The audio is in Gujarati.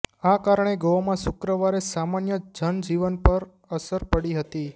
આ કારણે ગોવામાં શુક્રવારે સામાન્ય જનજીવન પર અસર પડી હતી